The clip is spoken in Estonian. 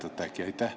Mäletate äkki?